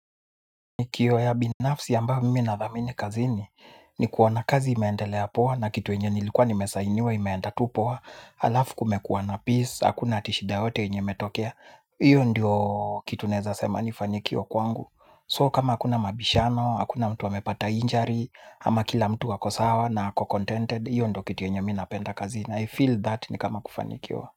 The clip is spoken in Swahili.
Kiyo ya binafsi yamba mimi na dhamini kazini ni kuona kazi imendelea poa na kitu nilikuwa nimesainiwa pia imeenda tu poa alafu kumekuwa na peaca hakuna shida yoyote yenye imetokea. Iyo ndiyo kitu neza sema nifanikio kwangu So kama akuna mabishano hakuna mtu wamepata injury. Ama kila mtu wako sawa na ako contented. Iyo ndo kitu enye minapenda kazini I feel that ni kama kufanikio.